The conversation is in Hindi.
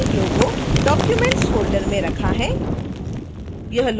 मैंने लोगो documents फोल्डर में रखा है